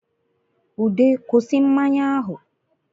Ude kwusi mmanya ahụ